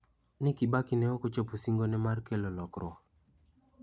Ni Kibaki ne ok ochopo singone mar kelo lokruok.